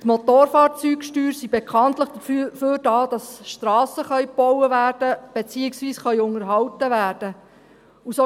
Die Motorfahrzeugsteuern sind bekanntlich dafür da, damit Strassen gebaut werden, beziehungsweise unterhalten werden können.